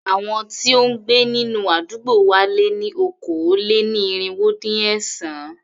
Àwọn tí ó ń gbé nínú àdúgbò wa lé ní okòó-lé-ní-irínwó-dín-ẹ̀sán.